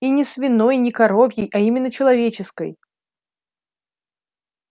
и не свиной не коровьей а именно человеческой